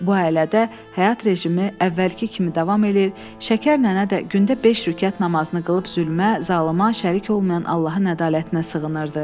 Bu ailədə həyat rejimi əvvəlki kimi davam eləyir, Şəkər nənə də gündə beş rükət namazını qılıb zülmə, zalıma şərik olmayan Allahın ədalətinə sığınırdı.